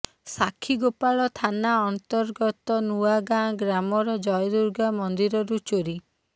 ସାକ୍ଷୀଗୋପାଳ ଥାନା ଅନ୍ତର୍ଗତ ନୂଆଗାଁ ଗ୍ରାମର ଜୟଦୁର୍ଗା ମନ୍ଦିରରୁ ଚୋରି